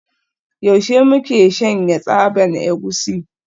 Yaushe muke shanya tsaban egusi?